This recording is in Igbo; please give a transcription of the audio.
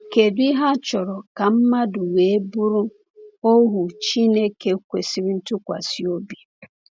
Kedu ihe a chọrọ ka mmadụ wee bụrụ ohu Chineke kwesịrị ntụkwasị obi?